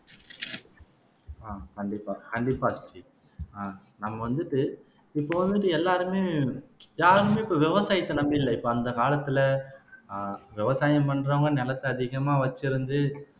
அஹ் கண்டிப்பா கண்டிப்பா ஆஹ் நம்ம வந்துட்டு இப்போ வந்துட்டு எல்லாருமே யாருமே இப்போ விவசாயத்தை நம்பி இல்லை இப்போ அந்த காலத்திலே ஆஹ் விவசாயம் பண்றவங்க நிலத்தை அதிகமா வச்சிருந்து